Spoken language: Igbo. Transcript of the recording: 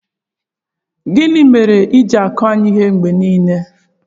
Gị mere ịji-akụ ya ihe mgbe niile?